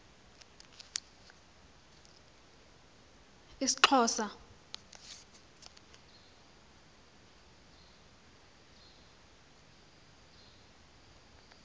isxhosa